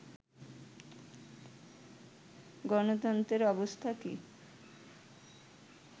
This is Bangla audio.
গণতন্ত্রের অবস্থা কী